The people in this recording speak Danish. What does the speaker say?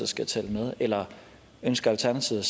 skal tælle med eller ønsker alternativet